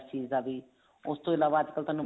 ਚੀਜ਼ ਦਾ ਵੀ ਉਸਤੋਂ ਇਲਾਵਾ ਅੱਜਕਲ ਤੁਹਾਨੂੰ